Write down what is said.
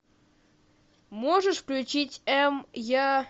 можешь включить м я